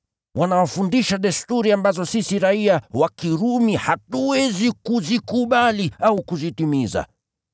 Wanafundisha desturi ambazo sisi raiya wa Kirumi hatuwezi kuzikubali au kuzitimiza.”